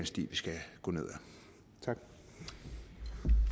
sti vi skal gå ned ad